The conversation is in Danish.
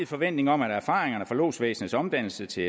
forventning om at erfaringerne fra lodsvæsenets omdannelse til